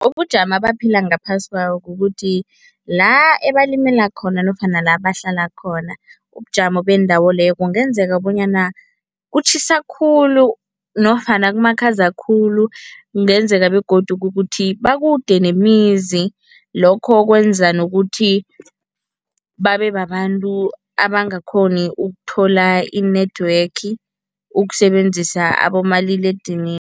Ubujamo abaphila ngaphasi kwabo kukuthi la ebalimela khona nofana la bahlala khona, ubujamo bendawo leyo kungenzeka bonyana kutjhisa khulu nofana kumakhaza khulu, kungenzeka begodu ukuthi bakude nemizi. Lokho kwenza nokuthi babebabantu abangakghoni ukuthola i-network ukusebenzisa abomaliledinini.